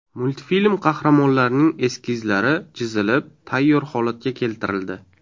Multfilm qahramonlarining eskizlari chizilib, tayyor holatga keltirildi.